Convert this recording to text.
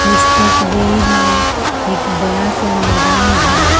इस तस्वीर में एक बड़ा सा मैदान है।